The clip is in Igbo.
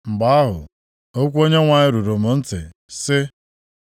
Mgbe ahụ, okwu Onyenwe anyị ruru m ntị, sị,